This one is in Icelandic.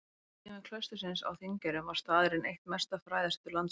Á tímum klaustursins á Þingeyrum var staðurinn eitt mesta fræðasetur landsins.